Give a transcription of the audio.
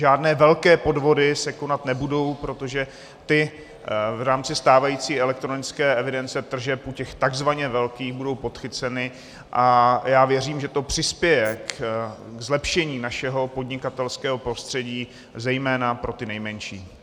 Žádné velké podvody se konat nebudou, protože ty v rámci stávající elektronické evidence tržeb u těch takzvaně velkých budou podchyceny a já věřím, že to přispěje ke zlepšení našeho podnikatelského prostředí, zejména pro ty nejmenší.